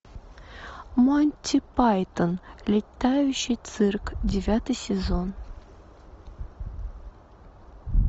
монти пайтон летающий цирк девятый сезон